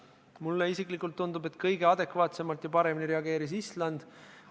Mulle isiklikult tundub, et kõige adekvaatsemalt ja paremini reageeris Island.